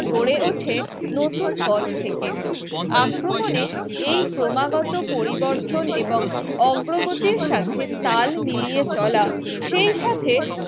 গড়ে ওঠে নতুন পথ থেকে আক্রমণে এই ক্রমাগত পরিবর্তন এবং অগ্রগতি সাথে তাল মিলিয়ে চলা সেই সাথে